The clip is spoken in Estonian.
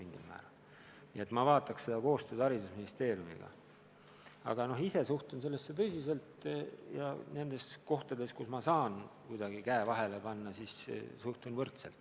Nii et ma arutaks seda koostöös haridusministeeriumiga, aga ise ma suhtun sellesse tõsiselt ja kui ma saan kuidagi käe vahele panna, kui vaja, siis suhtun võrdselt.